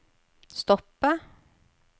stoppe